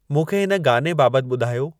मूंखे हिन गाने बाबति ॿुधायो